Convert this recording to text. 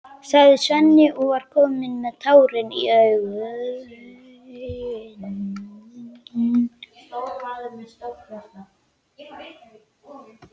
sagði Svenni og var kominn með tárin í augun.